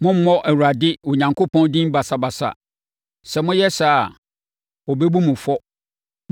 Mommmɔ Awurade Onyankopɔn din basabasa. Sɛ moyɛ saa a, ɔbɛbu mo fɔ.